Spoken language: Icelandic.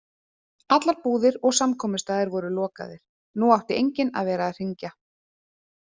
Allar búðir og samkomustaðir voru lokaðir, nú átti enginn að vera að hringja.